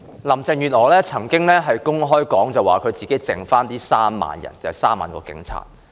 林鄭月娥曾經公開表示，她只剩下3萬名警察。